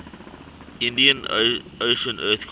indian ocean earthquake